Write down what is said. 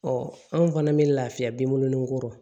anw fana bɛ lafiya binko nin ko